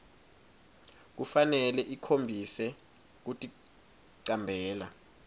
kufanele ikhombise kuticambela